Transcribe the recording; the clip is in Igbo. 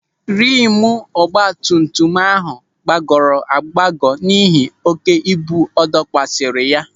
Rịmu ọgbatumtum áhụ̀ gbagọrọ agbagọ n'ihi oké ibu adọkwasara ya.